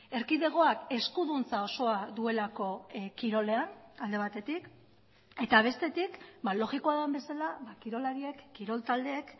erkidegoak eskuduntza osoa duelako kirolean alde batetik eta bestetik logikoa den bezala kirolariek kirol taldeek